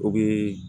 O bi